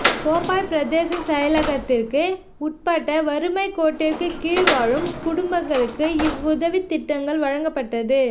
கோப்பாய் பிரதேச செயலகத்திற்கு உட்பட்ட வறுமைக்கோட்டிற்கு கீழ் வாழும் குடும்பங்களுக்கு இவ் உதவித்திட்டங்கள் வழங்கப்பட்டது